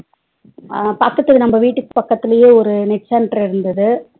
அஹ் பக்கத்து நம்ம வீட்டு பக்கத்துலேயே ஒரு net center இருந்தது